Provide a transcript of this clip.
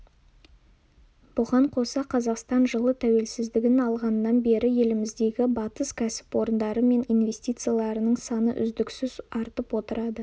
бұған қоса қазақстан жылы тәуелсіздігін алғаннан бері еліміздегі батыс кәсіпорындары мен инвестицияларының саны үздіксіз артып отырады